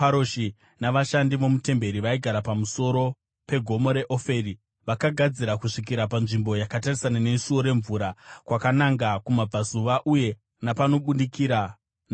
navashandi vomutemberi vaigara pamusoro pegomo reOferi vakagadzira kusvikira panzvimbo yakatarisana neSuo reMvura kwakananga kumabvazuva uye napanobudikira neshongwe.